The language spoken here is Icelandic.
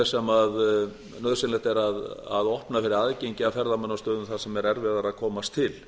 auk þess sem nauðsynlegt er að opna fyrir aðgengi að ferðamannastöðum sem er erfiðara að komast til